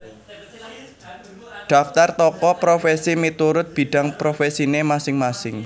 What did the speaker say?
Daftar Tokoh Profesi miturut bidang profesine masing masing